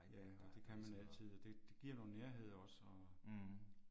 Ja det kan man altid det det giver noget nærhed også og